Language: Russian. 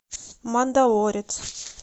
мандалорец